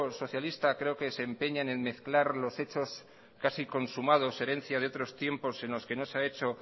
socialista creo que se empeñan en mezclar los hechos casi consumados herencia de otros tiempos en los que no se ha hecho